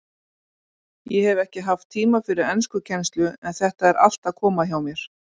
Ég hef ekki haft tíma fyrir enskukennslu en þetta er allt að koma hjá mér.